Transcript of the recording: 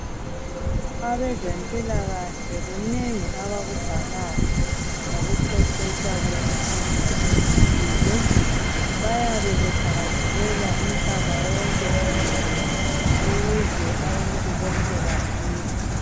Abezempilahle kunengi abakubhalayo ngokuqeqetsha kokufunda ezempilo. Bayabe bethakazelela umhlaba wonke jikelele ukuze abantu bonke baphile.